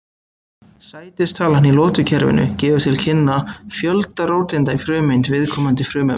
sætistalan í lotukerfinu gefur til kynna fjölda róteinda í frumeind viðkomandi frumefnis